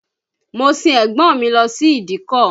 Mo sin ẹ̀gbọ́n mi lọ sí ìdíkọ̀